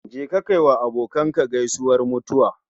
Je ka kai wa abokinka gaisuwar mutuwa